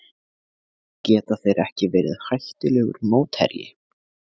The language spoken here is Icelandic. Geta þeir ekki verið hættulegur mótherji?